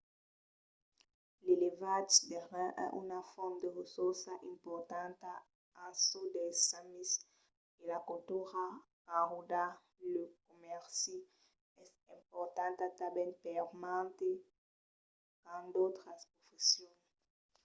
l'elevatge de rèns es una font de ressorças importanta en çò dels samis e la cultura qu'enròda lo comèrci es importanta tanben per mantes qu’an d’autras professions